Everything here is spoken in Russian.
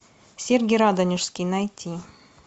сергий радонежский найти